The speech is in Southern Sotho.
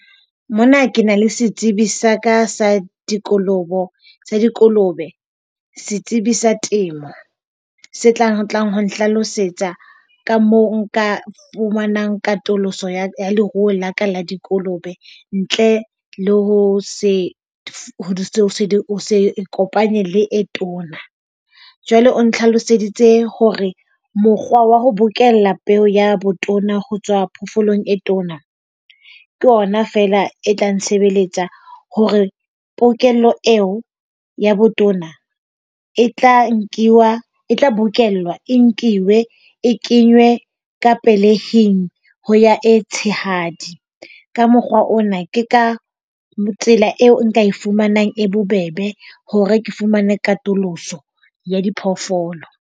Mona ke na le setsebi sa ka sa dikolobo, dikolobe, setsebi sa temo. Se tlang tlang ho ntlhalosetsa ka moo nka fumanang katoloso ya leruo la ka la dikolobe. Ntle le ho se ikopanye le e tona. Jwale o ntlhaloseditse hore mokgwa wa ho bokella peo ya botona ho tswa phofoolong e tona ke yona fela e tla ntshebeletsa hore pokello eo ya botona e tla nkuwa e tla bokellwa, e nkuwe. E kenywe ka pelehing ho ya e tshehadi. Ka mokgwa ona, ke ka tsela eo nka e fumanang e bobebe hore ke fumane katoloso ya diphoofolo.